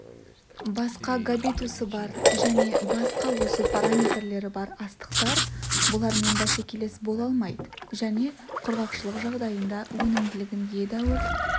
басқа габитусы бар және басқа өсу параметрлері бар астықтар бұлармен бәсекелес бола алмайды және құрғақшылық жағдайында өнімділігін едәуір